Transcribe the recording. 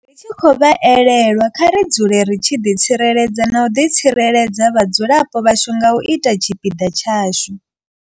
Ri tshi khou vha elelwa, kha ri dzule ri tshi ḓi tsireledza na u tsireledza vhadzulapo vhashu nga u ita tshipiḓa tshashu.